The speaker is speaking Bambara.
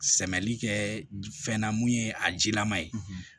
Sɛbɛli kɛ fɛn na mun ye a jilaman ye